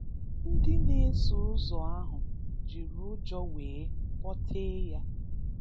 Ndị na-eso ụzọ ahụ jiri ụjọ nwee kpọtee ya.